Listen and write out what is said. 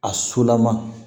A solama